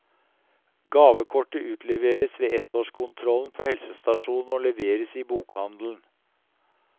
Gavekortet utleveres ved ettårskontrollen på helsestasjonen og leveres i bokhandelen.